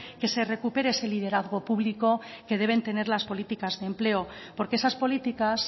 que se recupere ese liderazgo publico que deben tener las políticas de empleo porque esas políticas